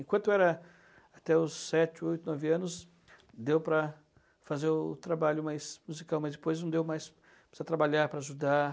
Enquanto era até os sete, oito, nove anos, deu para fazer o trabalho mais musical, mas depois não deu mais para trabalhar, para ajudar.